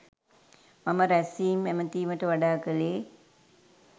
මම රැස්වීම් ඇමැතීමට වඩා කළේ